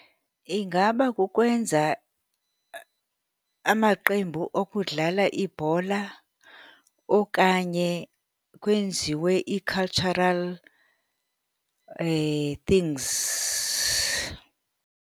Ingaba kukwenza amaqembu okudlala ibhola okanye kwenziwe ii-cultural things.